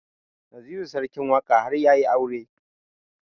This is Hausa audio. Naziru sarkin waƙa har yayi aure